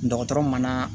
Dɔgɔtɔrɔ mana